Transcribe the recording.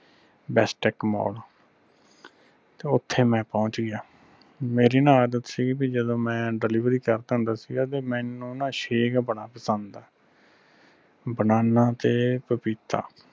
bestech mall ਤੇ ਓਥੈ ਮੈਂ ਪਹੁੰਚ ਗਿਆ ਮੇਰੀ ਨਾ ਆਦਤ ਸੀ ਬਈ ਜਦੋ ਮੈਂ delivery ਕਰਦਾ ਹੁੰਦਾ ਸੀਗਾ ਤੇ ਮੈਨੂੰ ਨਾ shake ਬੜਾ ਪਸੰਦ ਹੈ banana ਤੇ ਪਪੀਤਾ